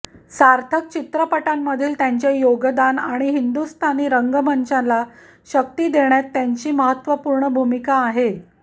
सार्थक चित्रपटांमधील त्यांचे योगदान आणि हिंदुस्थानी रंगमंचाला शक्ती देण्यात त्यांची महत्त्वपूर्ण भूमिका आहे